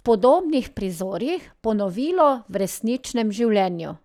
v podobnih prizorih, ponovilo v resničnem življenju.